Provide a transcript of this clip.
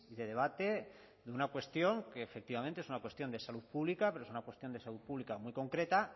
de debate de una cuestión que efectivamente es una cuestión de salud pública pero es una cuestión de salud pública muy concreta